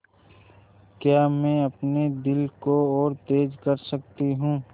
क्या मैं अपने दिल को और तेज़ कर सकती हूँ